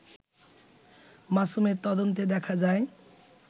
মাসুমের তদন্তে দেখা যায়